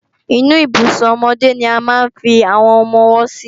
Inú Ibùsùn ọmọdé ni a máa ń fi àwọn ọmọ-ọwọ́ sí